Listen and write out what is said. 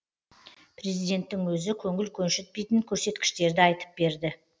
президенттің өзі көңіл көншітпейтін көрсеткіштерді айтып берді